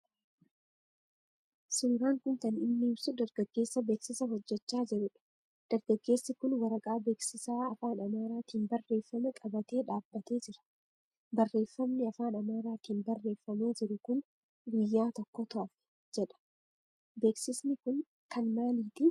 Suuraan kun kan inni ibsu dargaggeessa baaksisa hojechaa jiru dha. Dargaggeessi kun waraqaa beeksisaa Afaan Amaaraatiin barreeffame qabatee dhaabbatee jiraa. Barreeffamni Afaan Amaaraatiin barreeffamee jiru kun "guyyaa tokkotu hafe" jedha. Beeksisi kun kan maaliitii ?